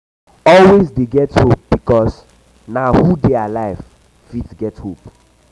always dey get hope bikos na who um who um dey alive fit get hope